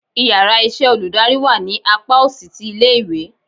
íyarà iṣẹ olùdarí wá ní apá osì tí ilé ìwé